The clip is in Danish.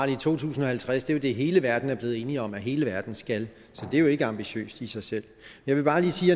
i to tusind og halvtreds er det hele verden er blevet enige om at hele verden skal det er jo ikke ambitiøst i sig selv jeg vil bare lige sige